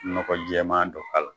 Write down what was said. Nɔgɔ jɛman dɔ k'a la.